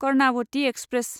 Karnavati express